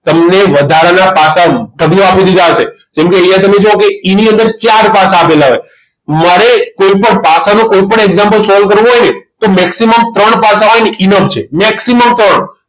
તમને વધારાના પાસા ઢગલો આપી દીધા હશે કેમ કે અહીંયા તમે જુઓ કે E અંદર ચાર પાસા આપેલા હોય મળે કોઈપણ પાસાનો કોઈપણ example solve કરવો હોય ને ત maximum ત્રણ પાસા હોય ને એ enough છે maximum ત્રણ